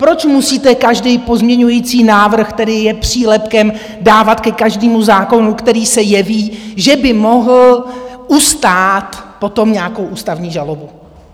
Proč musíte každý pozměňovací návrh, který je přílepkem, dávat ke každému zákonu, který se jeví, že by mohl ustát potom nějakou ústavní žalobu?